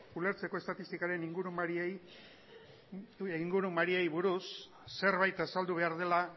ulertzeko estatistikaren ingurumariei buruz zerbait azaldu behar dela